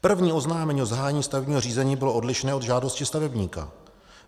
První oznámení o zahájení stavebního řízení bylo odlišné od žádostí stavebníka.